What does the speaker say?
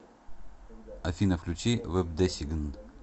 афина включи вэбдесигн